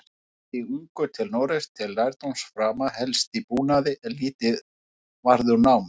Sigldi ungur til Noregs til lærdómsframa, helst í búnaði, en lítið varð úr námi.